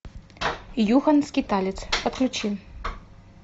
юхан скиталец подключи